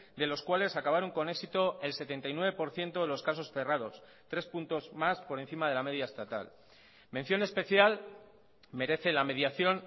de los cuales acabaron con éxito el setenta y nueve por ciento de los casos cerrados tres puntos más por encima de la media estatal mención especial merece la mediación